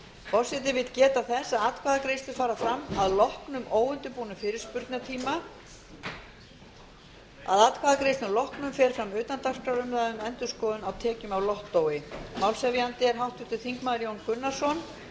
forseti vill geta þess að atkvæðagreiðslur fara fram að loknum óundirbúnum fyrirspurnatíma að atkvæðagreiðslum loknum fer fram utandagskrárumræða um endurskoðun á tekjum af lottói málshefjandi er háttvirtur þingmaður jón gunnarsson